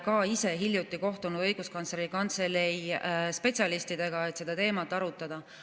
Ka me ise hiljuti kohtusime Õiguskantsleri Kantselei spetsialistidega, et seda teemat arutada.